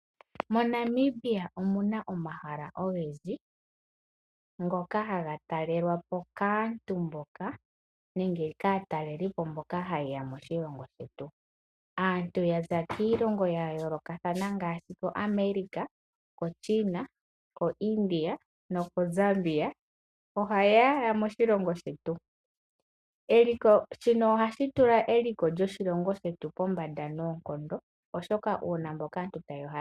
MoNamibia omuna omahala ogendji ngoka haga talelwa po kaantu mboka, nenge kaatalelipo mboka ha yeya moshilongo shetu. Aantu ya za kiilongo ya yoolokathana ngaashi koAmerica, koChina, koIndia nokoZambia, oha yeya moshilongo shetu. Shino ohashi tula eliko loshilongo shetu pombanda noonkondo, oshoka uuna aantu mboka aantu ta yeya ohaya futu.